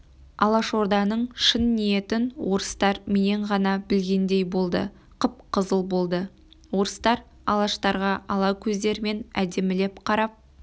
алашорданың шын ниетін орыстар менен ғана білгендей болды қып-қызыл болды орыстар алаштарға ала көздерімен әдемілеп қарап